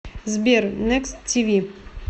сбер некст ти ви